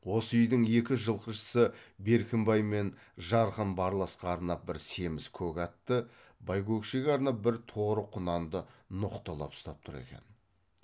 осы үйдің екі жылқышысы беркімбай мен жарқын барласқа арнап бір семіз көк атты байкөкшеге арнап бір торы құнанды ноқталап ұстап тұр екен